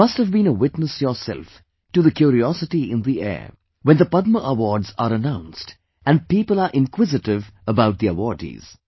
You must have been a witness yourself to the curiosity in the air when the Padma awards are announced, and people are inquisitive about the awardees